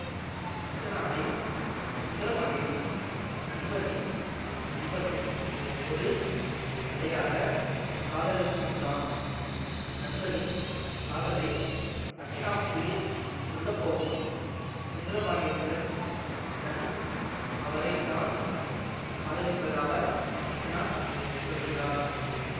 அர்ச்சனாவை சுந்திரபாண்டியனின் நண்பனின் நண்பனும் ஒரு தலையாகக் காதலிக்கின்றான் நண்பனின் காதலை அர்ச்சனாவுக்கு சொல்ல போகும் சுந்தரபாண்டியனிடம் தன் அவரைத்தான் காதலிப்பதாக அர்ச்சனா சொல்கிறார்